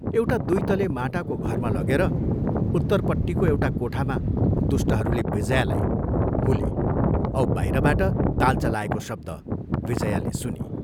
एउटा दुइ तले माटाको घरमा लगेर उत्तरपट्टिको एउटा कोठामा दुष्टहरूले विजयालाई हुले औ बाहिरबाट ताल्चा लाएको शब्द विजयाले सुनी